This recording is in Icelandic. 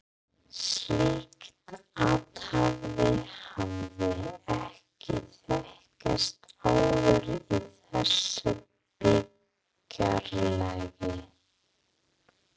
Slíkt athæfi hafði ekki þekkst áður í þessu byggðarlagi.